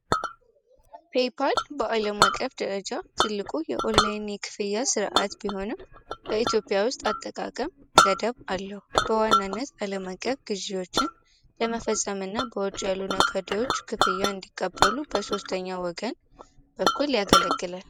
ፔይፓል በአለማቀፍ ደረጃ ትልቁ የኦላይን የክፍያ ስርዐት ቢሆንም በኢትዮጵያ ውስጥ አጠቃቀም ገደብ አለው በዋናነት አለም አቀፍ ግዥዎችን ለመፈፀም እና ውጪ ያሉ ነጋዴዎች ክፍያ እንዲቀበሉ በሶስተኛ ወገን በኩል ያገለግላል።